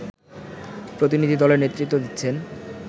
প্রতিনিধি দলের নেতৃত্ব দিচ্ছেন